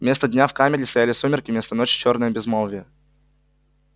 вместо дня в камере стояли сумерки вместо ночи чёрное безмолвие